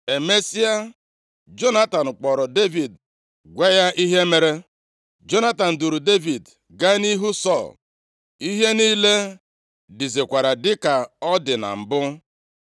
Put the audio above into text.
Emesịa, Jonatan kpọrọ Devid gwa ya ihe mere. Jonatan duuru Devid gaa nʼihu Sọl. Ihe niile dizikwara dịka ọ dị na mbụ.